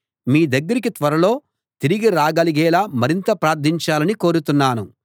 మీ దగ్గరికి త్వరలో తిరిగి రాగలిగేలా మరింత ప్రార్థించాలని కోరుతున్నాను